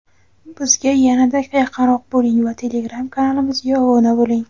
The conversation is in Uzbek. Bizga yanada yaqinroq bo‘ling va telegram kanalimizga obuna bo‘ling!.